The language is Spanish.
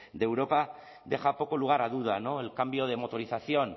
de europa deja poco lugar a duda el cambio de motorización